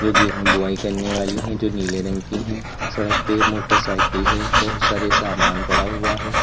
गेहूं बोआई करने वाली है जो नीले रंग की है सड़क पे मोटरसाइकिल है बहुत सारे सामान पड़ा हुआ है।